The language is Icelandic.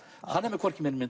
hann er með hvorki meira né